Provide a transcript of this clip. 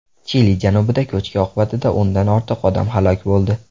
Chili janubida ko‘chki oqibatida o‘ndan ortiq odam halok bo‘ldi.